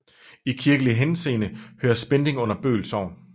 I kirkelig henseende hører Spending under Bøl Sogn